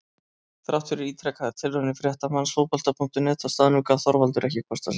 Þrátt fyrir ítrekaðar tilraunir fréttamanns Fótbolta.net á staðnum gaf Þorvaldur ekki kost á sér.